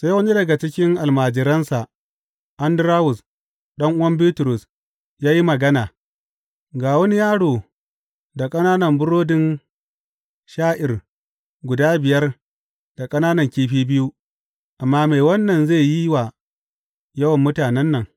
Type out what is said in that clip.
Sai wani daga cikin almajiransa Andarawus, ɗan’uwan Bitrus, ya yi magana, Ga wani yaro da ƙananan burodin sha’ir guda biyar da ƙananan kifi biyu, amma me wannan zai yi wa yawan mutanen nan.